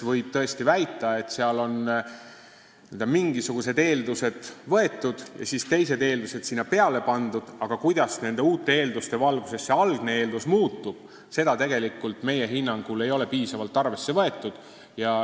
Võib tõesti väita, et seal on aluseks võetud mingisugused eeldused ja teised eeldused sinna juurde pandud, aga kuidas nende uute eelduste valguses muutuvad need algsed eeldused, seda ei ole meie hinnangul piisavalt arvesse võetud.